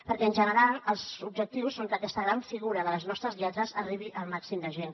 perquè en general els objectius són que aquesta gran figura de les nostres lletres arribi al màxim de gent